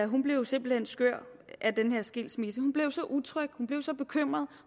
hun blev simpelt hen skør af den her skilsmisse hun blev så utryg hun blev så bekymret